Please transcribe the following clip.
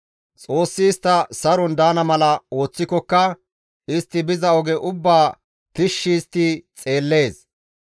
Xoossi istta saron daana mala ooththikokka, istti biza oge ubbaa tishshi histti xeellees